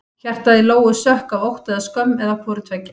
Hjartað í Lóu sökk af ótta eða skömm eða hvoru tveggja.